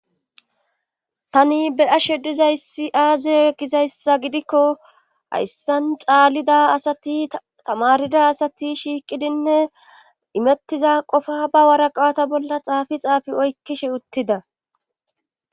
tani be ashe dizayssi aazey e gizayssa gidikko hayssan caalida asati tamarida asati shiiqidinne imettiza qofa ba waraqata bolla xaafi xaafi oykkishe uttida